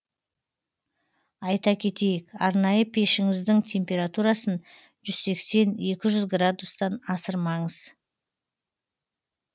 айта кетейік арнайы пешіңіздің температурасын жүз сексен екі жүз градустан асырмаңыз